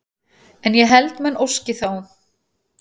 En ég held menn óski þá